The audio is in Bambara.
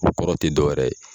O kɔrɔ tɛ dɔwɛrɛ ye